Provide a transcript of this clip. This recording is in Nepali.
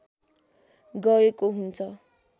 गएको हुन्छ